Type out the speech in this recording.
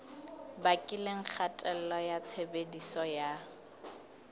bakileng kgatello ya tshebediso ya